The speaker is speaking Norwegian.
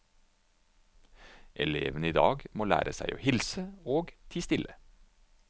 Elevene i dag må lære seg å hilse og tie stille.